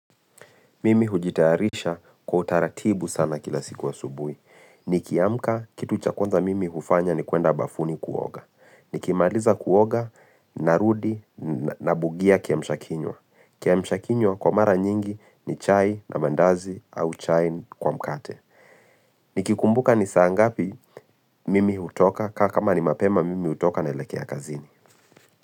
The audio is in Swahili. Mimi hujitayarisha kwa utaratibu sana kila siku asubuhi. Nikiamka, kitu cha kwanza mimi hufanya ni kuenda bafuni kuoga. Nikimaliza kuoga, narudi, nabugia kiamshakinywa. Kiamshakinywa kwa mara nyingi ni chai na mandazi au chai kwa mkate. Nikikumbuka ni saa ngapi mimi hutoka kama ni mapema mimi hutoka naelekea kazini.